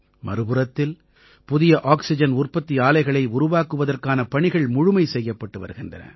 மறுபுறத்தில் புதிய ஆக்சிஜன் உற்பத்தி ஆலைகளை உருவாக்குவதற்கான பணிகள் முழுமை செய்யப்பட்டு வருகின்றன